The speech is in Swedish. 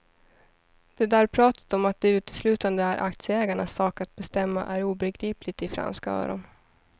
Det där pratet om att det uteslutande är aktieägarnas sak att bestämma är obegripligt i franska öron.